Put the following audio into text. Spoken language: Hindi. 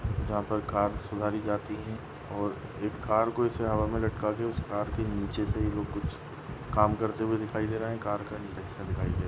यहाँ पर कार सुधारी जाती है और एक कार को ऐसे हवा मे लटका के उस कार के नीचे से कुछ काम करते हुए दिखाई दे रहा है कार का नीचे का हिस्सा दिखाई दे रहा।